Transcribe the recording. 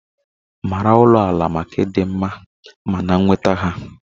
maara ulo-ala maka ịdị mma na nnweta ha